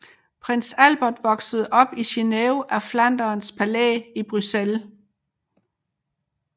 Prins Albert voksede op i Greven af Flanderns Palæ i Bruxelles